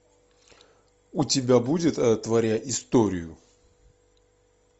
у тебя будет творя историю